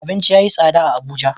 Abinci yayi tsada a abuja